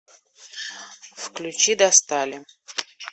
включи достали